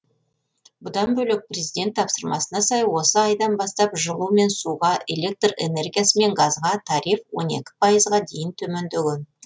бұдан бөлек президент тапсырмасына сай осы айдан бастап жылу мен суға электр энергиясы мен газға тариф он екі пайызға дейін төмендеген